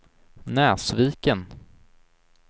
Näsviken